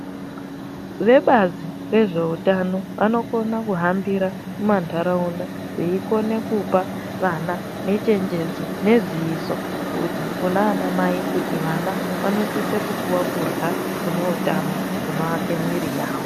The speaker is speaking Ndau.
Vebazi rezveutano vanokone kuhambira mumantaraunda veikone kupa vana nechenjedzo, neziiso kuti, kuna anamai kuti ana anosise kupuwa kurya kune utano kunoaka mwiiri yavo.